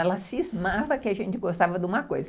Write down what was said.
Ela cismava que a gente gostava de uma coisa.